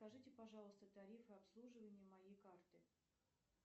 скажите пожалуйста тарифы обслуживания моей карты